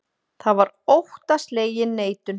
Það var óttaslegin neitun.